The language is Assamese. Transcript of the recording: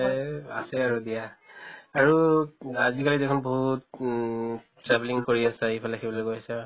এই আআহে আৰু দিয়া। আৰু আজি কালি দেখোন বহুত উম travelling কৰি আছে, ইফালে সিফালে গৈ আছা